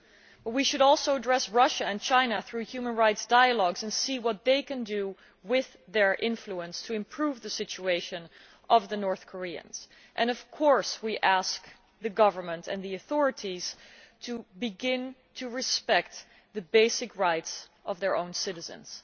But we should also address Russia and China through human rights dialogues and see what they can do with their influence to improve the situation of the North Koreans, and of course we ask the government and the authorities to begin to respect the basic rights of their own citizens.